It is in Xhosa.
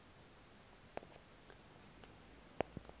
motors yase cato